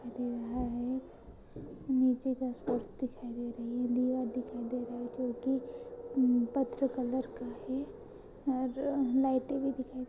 तिथे है आये नीचे का स्पोर्ट्स दिखाई दे रही है। दीवार दिखाई दे रहा जो कि अ पत्र कलर का है। और लाइटे भी दिखाई --